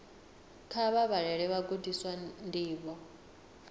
kha vha vhalele vhagudiswa ndivho